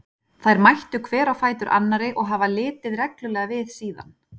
Þær mættu hver á fætur annarri og hafa litið reglulega við síðan.